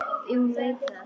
Því hún veit það.